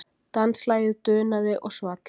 Danslagið dunaði og svall.